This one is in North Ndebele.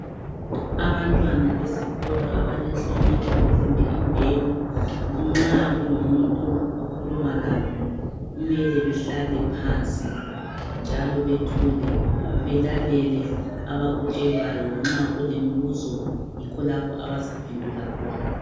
Abantwana besikolo abalenhlonipho kumbe imbeko nxa kulomuntu okhuluma labo kumele behlale phansi njalo bethule belalele abakutshelwayo nxa kulembuzo yikho lapho abazaphendula khona.